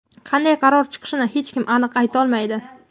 qanday qaror chiqishini hech kim aniq aytolmaydi.